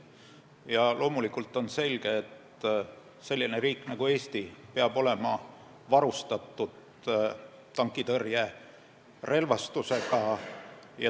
Ja loomulikult on selge, et selline riik nagu Eesti peab olema varustatud tankitõrjerelvastusega.